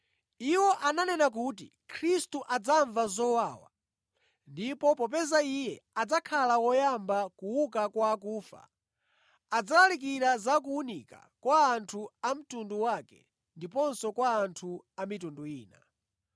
Iwo ananena kuti Khristu adzamva zowawa ndipo popeza Iye adzakhala woyamba kuuka kwa akufa, adzalalikira za kuwunika kwa anthu a mtundu wake ndiponso kwa anthu a mitundu ina.”